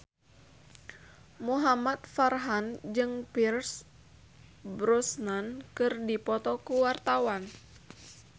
Muhamad Farhan jeung Pierce Brosnan keur dipoto ku wartawan